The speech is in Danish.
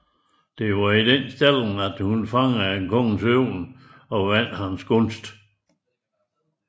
Det var i denne stilling at hun fangede kongens øje og vandt hans gunst